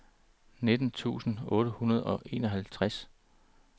nitten tusind otte hundrede og enoghalvtreds